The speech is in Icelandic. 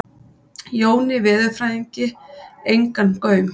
Jóni veðurfræðingi engan gaum.